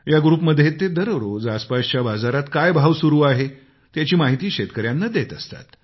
या ग्रुपमध्ये ते दररोज आसपासच्या बाजारमध्ये काय भाव सुरु आहे त्याची माहिती शेतकऱ्यांना देत असतात